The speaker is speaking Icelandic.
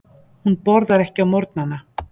Hún borðar ekki á morgnana.